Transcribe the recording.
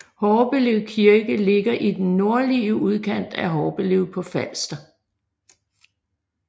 Horbelev Kirke ligger i den nordlige udkant af Horbelev på Falster